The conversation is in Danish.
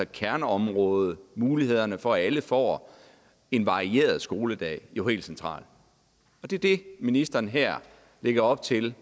kerneområde muligheden for at alle får en varieret skoledag jo helt central og det er det ministeren her lægger op til